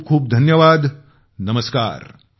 खूप खूप धन्यवाद नमस्कार